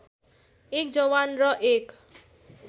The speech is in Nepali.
१ जवान र १